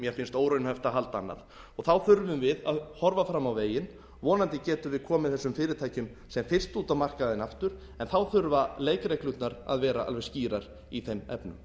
mér finnst óraunhæft að halda annað þá þurfum við að horfa fram á veginn vonandi getum við komið þessum fyrirtækjum sem fyrst út á markaðinn aftur en þá þurfa leikreglurnar að vera alveg skýrar í þeim efnum